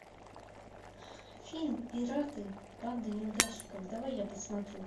фильм пираты банда неудачников давай я посмотрю